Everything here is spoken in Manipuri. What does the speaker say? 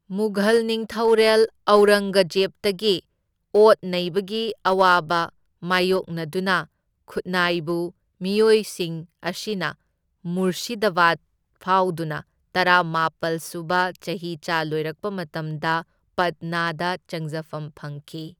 ꯃꯨꯘꯜ ꯅꯤꯡꯊꯧꯔꯦꯜ ꯑꯧꯔꯪꯒꯖꯦꯕꯇꯒꯤ ꯑꯣꯠ ꯅꯩꯕꯒꯤ ꯑꯋꯥꯕ ꯃꯥꯢꯌꯣꯛꯅꯗꯨꯅ, ꯈꯨꯠꯅꯥꯏꯕ ꯃꯤꯑꯣꯏꯁꯤꯡ ꯑꯁꯤꯅ ꯃꯨꯔꯁꯤꯗꯥꯕꯥꯗ ꯐꯥꯎꯗꯨꯅ, ꯇꯔꯥꯅꯤꯄꯥꯜ ꯁꯨꯕ ꯆꯍꯤꯆꯥ ꯂꯣꯏꯔꯛꯄ ꯃꯇꯝꯗ ꯄꯠꯅꯥꯗ ꯆꯪꯖꯐꯝ ꯐꯪꯈꯤ꯫